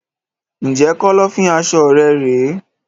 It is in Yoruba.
Ǹjẹ́ Kọ́lọ́fín aṣọ rẹ rèé?